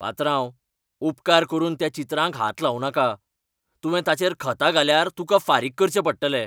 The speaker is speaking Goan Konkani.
पात्रांव, उपकार करून त्या चित्रांक हात लावूं नाका! तुवें ताचेर खतां घाल्यार तुका फारीक करचे पडटलें.